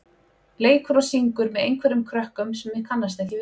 leikur og syngur með einhverjum krökkum sem ég kannast ekki við.